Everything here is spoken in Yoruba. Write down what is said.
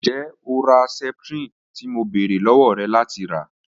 Njẹ o ra septrin ti mo beere lọwọ rẹ lati ra?